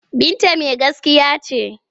Binta mai gaskiya ce.